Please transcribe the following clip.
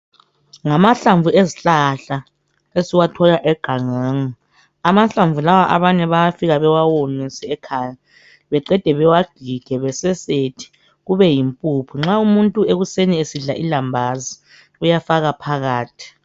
Ngamahlamvu ezihlahla esiwathola egangeni amahlamvu lawa abanye bayafika bewawomise ekhaya beqede bewagige bewasesethe kubeyimpuphu nxa umuntu ekuseni esidla ilambazi uyafaka phakathi.